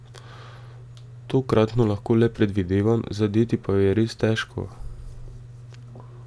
Tokratno lahko le predvidevam, zadeti pa jo je res težko.